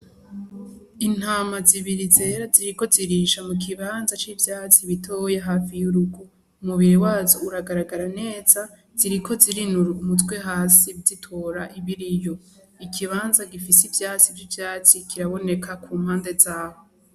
Intama zibiri zera ziriko zirarisha mu kibanza c'ivyatsi bitoya hafi y'urugo. Umubiri wazo uragaragara neza, ziriko zirinura umutwe hasi zitora ibiriyo. Ikibanza gifise ivyatsi vy'icatsi kiraboneka ku mpande zaho.